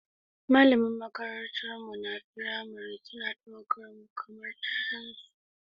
Malaman makarantunmu na firamare suna ɗaukar mu kamar 'ya'yansu.